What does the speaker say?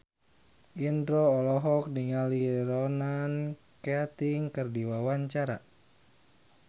Indro olohok ningali Ronan Keating keur diwawancara